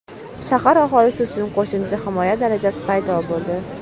Shahar aholisi uchun qo‘shimcha himoya darajasi paydo bo‘ldi.